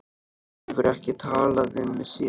Hann hefur ekki talað við mig síðan.